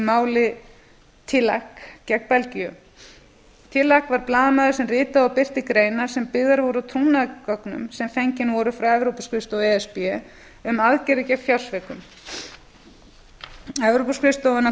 máli tillack gegn belgíu tillack var blaðamaður sem ritaði og birti greinar sem byggðar voru á trúnaðargögnum sem fengin voru frá evrópuskrifstofu e s b um aðgerðir gegn fjársvikum evrópuskrifstofan grunaði blaðamanninn